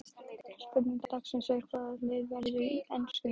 Spurning dagsins er: Hvaða lið verður enskur meistari?